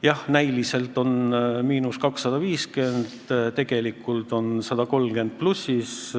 Jah, näiliselt on miinus 250, aga tegelikult on pluss 130.